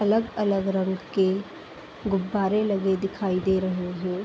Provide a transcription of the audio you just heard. अलग अलग रंग के गुब्बारे लगे दिखाई दे रहे हैं।